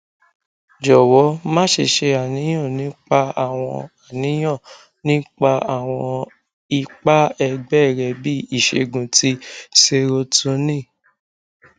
jọwọ maṣe ṣe aniyan nipa awọn aniyan nipa awọn ipa ẹgbẹ rẹ bi iṣegun ti serotonin